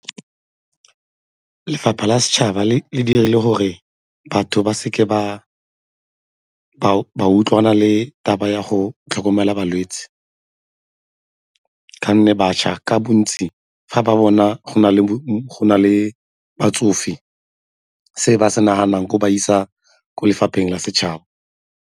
Lefapha la setšhaba le dirile gore batho ba seke ba utlwana le taba ya go tlhokomela balwetse ka 'onne bašwa ka bontsi ga ba bona go na le batsofe se ba se naganang ke go ba isa kwa lefapheng la setšhaba.